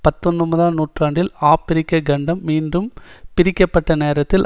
பத்தொன்பதாம் நூற்றாண்டில் ஆபிரிக்க கண்டம் மீண்டும் பிரிக்க பட்ட நேரத்தில்